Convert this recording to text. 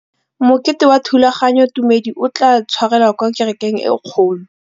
Mokete wa thulaganyôtumêdi o tla tshwarelwa kwa kerekeng e kgolo.